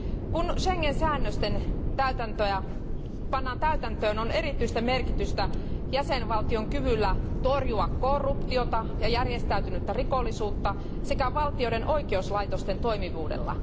Kun Schengen säännöksiä pannaan täytäntöön, on erityistä merkitystä jäsenvaltion kyvyllä torjua korruptiota ja järjestäytynyttä rikollisuutta sekä valtioiden oikeuslaitosten toimivuudella.